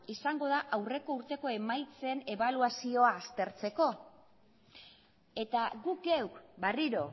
izango da aurreko urteko emaitzen ebaluazioa aztertzeko eta guk geuk berriro